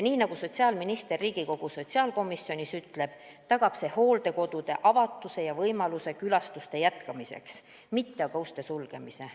Nii nagu sotsiaalminister Riigikogu sotsiaalkomisjonis ütles, tagab see hooldekodude avatuse ja võimaluse külastuste jätkamiseks ning aitab vältida uste sulgemist.